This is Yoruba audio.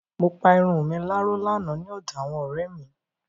Mo pa irun mi láró lánàá ní ọ̀dọ àwọn ọ̀rẹ́ mi.